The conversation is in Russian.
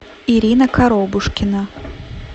ирина коробушкина